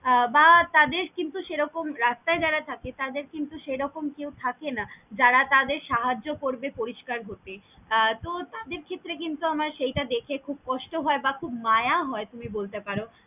বা তাদের কিন্তু সেরকম রাস্তাই যারা থাকে তাদের কে নিয়ে সেরকম কেউ থাকে না যারা তাদের সাহায্য করবে পরিস্কার হতে তহ তাদের ক্ষেত্রে কিন্তু আমার সেইটা দেখে খুব কষ্ট হয় বা মায়া হয় তুমি বলতে পারো।